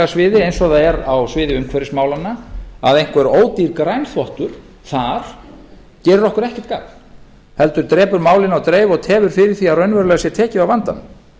sviði eins og það er á sviði umhverfismálanna að einhver ódýr grænþvottur þar gerir okkur ekkert gagn heldur drepur málinu á dreif og tefur fyrir því að raunverulega sé tekið á vandanum